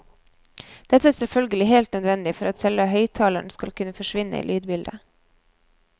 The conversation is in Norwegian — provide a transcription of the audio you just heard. Dette er selvfølgelig helt nødvendig for at selve høyttaleren skal kunne forsvinne i lydbildet.